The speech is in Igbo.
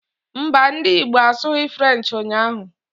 Mbà, ndị Igbo asughi Frenchi ụnyaahụ